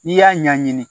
N'i y'a ɲɛɲini